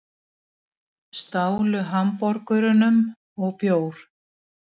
Stálu hamborgurum og bjór